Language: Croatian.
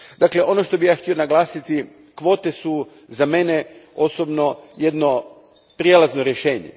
Dakle, ono što bih ja htio naglasiti, kvote su za mene osobno jedno prijelazno rješenje.